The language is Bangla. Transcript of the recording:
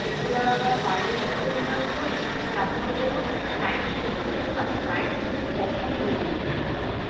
শুক্রবার রাতে আমরা বাইরে কোথাও diner করি তারপর কোন night show তে যাই আমি night show তে কখনো movie দেখিনি।